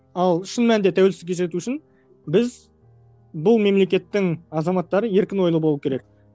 ал шын мәнінде тәуелсіздікке жету үшін біз бұл мемлекеттің азаматтары еркін ойлы болуы керек